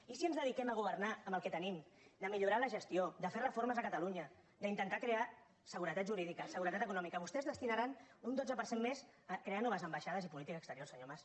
i si ens dedi·quem a governar amb el que tenim de millorar la ges·tió de fer reformes a catalunya d’intentar crear segu·retat jurídica seguretat econòmica vostès destinaran un dotze per cent més a crear noves ambaixades i política exterior senyor mas